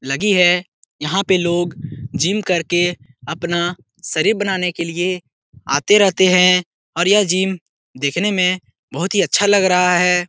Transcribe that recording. लगी है। यहाँ पे लोग जिम करके अपना शरीर बनाने के लिए आते रहते है और यह जिम देखने में बहुत ही अच्छा लग रहा है।